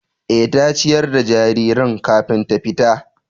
Eh, ta ciyar da jaririn kafin ta tafi